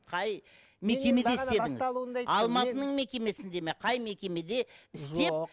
қай мекемеде істедіңіз алматының мекемесінде ме қай мекемеде істеп